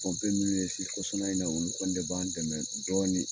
kɔsa in na olu kɔni de b'an dɛmɛ dɔɔnin